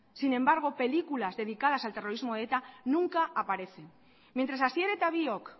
sin embargo películas dedicadas al terrorismo de eta nunca aparecen mientras asier eta biok